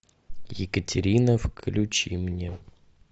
екатерина включи мне